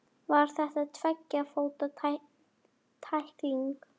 Var þetta tveggja fóta tækling?